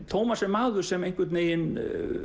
Tómas er maður sem einhvern veginn